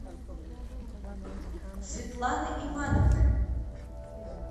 светланы ивановны